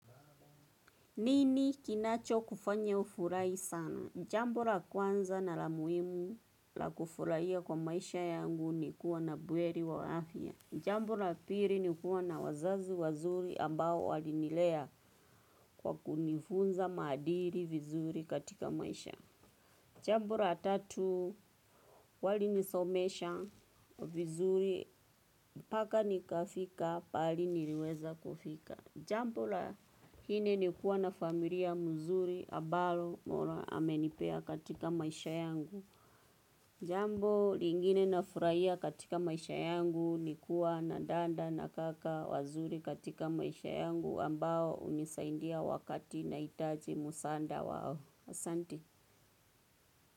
Nini kinacho kufanya ufurahi sana? Jambo la kwanza na la muhimu la kufurahia kwa maisha yangu ni kuwa na buheri wa afya. Jambo la pili ni kuwa na wazazi wazuri ambao walinilea kwa kunifunza maadili vizuri katika maisha. Jambo la tatu walinisomesha vizuri paka nikafika pahali niliweza kufika. Jambo la nne ni kuwa na familia mzuri ambalo mola amenipea katika maisha yangu. Jambo lingine nafurahia katika maisha yangu ni kuwa na dada na kaka wazuri katika maisha yangu ambao hunisaindia wakati nahitaji msaada wao. Asanti.